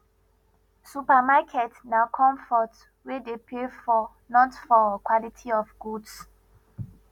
supermarket na comfort we dey pay for not for quality of goods